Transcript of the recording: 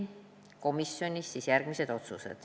Komisjonis tehti järgmised otsused.